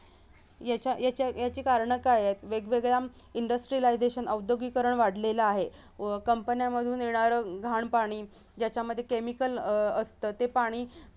याचा-याचा-याची कारणं काय आहेत वेगवेगळ्या industrialization औद्योगीकरण वाढलेला आहे अह company मधून येणारं घाण पाणी ज्याच्यामध्ये chemical अह असत ते पाणी